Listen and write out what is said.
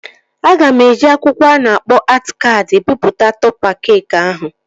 Aga m eji akwụkwọ a na-akpọ atị kaadị bipụta tọpa keekị ahụ